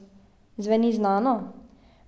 Zveni znano?